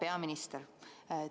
Hea peaminister!